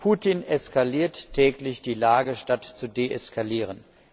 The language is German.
Putin eskaliert täglich die Lage, statt zu deeskalieren.